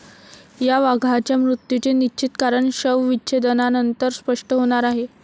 या वाघाच्या मृत्यूचे निश्चित कारण शवविच्छेदनानंतर स्पष्ट होणार आहे.